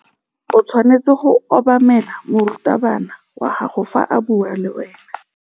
O tshwanetse go obamela morutabana wa gago fa a bua le wena.